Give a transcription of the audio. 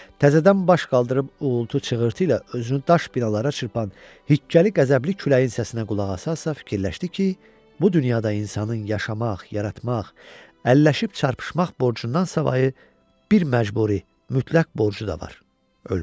Təzədən baş qaldırıb uğultu-çıxırtı ilə özünü daş binalara çırpan hiqqəli, qəzəbli küləyin səsinə qulaq asaraq fikirləşdi ki, bu dünyada insanın yaşamaq, yaratmaq, əlləşib çarpışmaq borcundansa savayı bir məcburi, mütləq borcu da var: ölmək.